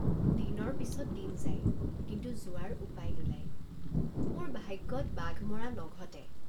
দিনৰ পিচত দিন যায় কিন্তু যোৱাৰ উপায় নোলায় মোৰ ভাগ্যত বাঘ মৰা নঘটে।